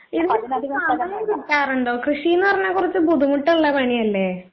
ഇതിനൊക്കെ സമയം കിട്ടാറുണ്ടോ? കൃഷിയെന്ന് പറഞ്ഞാ കൊറച്ച് ബുദ്ധിമുട്ടുള്ള പണിയല്ലേ?